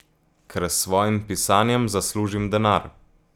Ker s svojim pisanjem zaslužim denar.